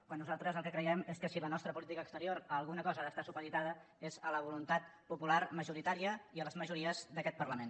quan nosaltres el que creiem és que si la nostra política exterior a alguna cosa ha d’estar supeditada és a la voluntat popular majoritària i a les majories d’aquest parlament